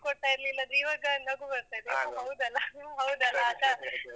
ದುಡ್ಡ್ ಕೊಡ್ತಾ ಇರ್ಲಿಲ್ಲ ಅದು ಇವಾಗ ನಗು ಬರ್ತದೆ. ಹೌದಲ್ಲ ಹೌದಲ್ಲ .